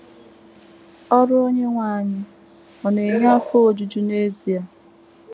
‘ Ọrụ Onyenwe anyị ’ ọ̀ na - enye afọ ojuju n’ezie?